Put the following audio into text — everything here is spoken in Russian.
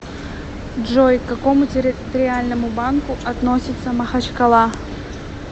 джой к какому территориальному банку относится махачкала